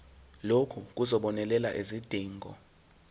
lokhu kuzobonelela izidingo